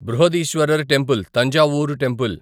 Brihadeeswarar temple Thanjavur temple